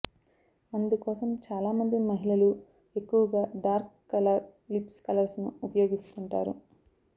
అందుకోసం చాలా మంది మహిళలు ఎక్కువగా డార్క్ కలర్ లిప్స్ కలర్స్ ను ఉపయోగిస్తుంటారు